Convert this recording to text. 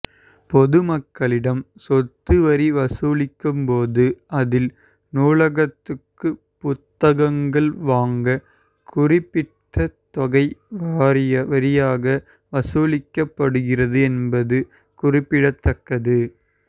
பொதுமக்களிடம் சொத்து வரி வசூலிக்கும் போது அதில் நூலகத்துக்கு புத்தகங்கள் வாங்க குறிப்பிட்ட தொகை வரியாக வசூலிக்கப்படுகிறது என்பது குறிப்பிடத்தக்கது